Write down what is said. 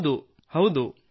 ಹೌದು ಹೌದು